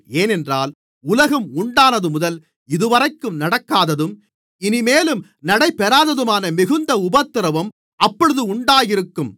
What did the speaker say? ஏனென்றால் உலகம் உண்டானதுமுதல் இதுவரைக்கும் நடக்காததும் இனிமேலும் நடைபெறாததுமான மிகுந்த உபத்திரவம் அப்பொழுது உண்டாயிருக்கும்